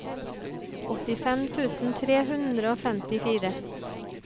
åttifem tusen tre hundre og femtifire